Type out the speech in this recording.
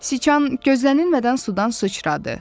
Siçan gözlənilmədən sudan sıçradı.